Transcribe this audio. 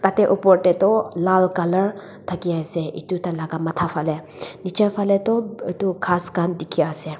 Tatey opor dae toh lal colour thakey ase etu tailaga matha phaleh nechi phaleh tuh etu ghas khan dekhey ase.